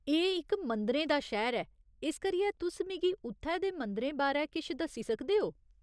एह् इक मंदिरें दा शैह्‌र ऐ। इस करियै तुस मिगी उत्थै दे मंदरें बारै किश दस्सी सकदे ओ ?